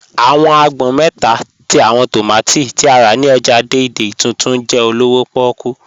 Awọn àgbọn mẹ́ta tí awọn tómátí tí a rá ni ọ́jà Dei-Dei Tuntun jẹ olówò pòkú